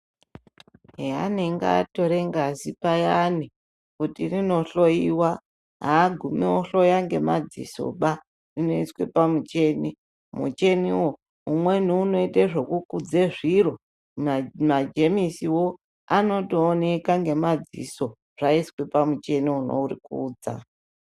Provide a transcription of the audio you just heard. Peanenga atore ngazi payani kuti rindohloyiwa agumi ohloya ngemadzisoba unoiswe pamucheni mucheniwo umweni unoite zvekukudze zviro ma majemisiwo anotooneka ngemadziso zvaiswe pamucheni unorikudza.